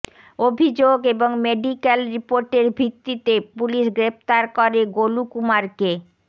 অভিযোগ এবং মেডিক্যাল রিপোর্টের ভিত্তিতে পুলিশ গ্রেফতার করে গোলু কুমারকে